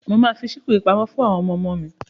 Mo máa fi síkù yìí pamọ́ fún àwọn ọmọmo mi.